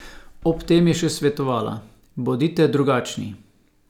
Ob tem je še svetovala: "Bodite drugačni.